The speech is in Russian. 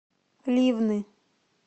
ливны